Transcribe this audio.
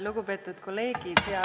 Lugupeetud kolleegid!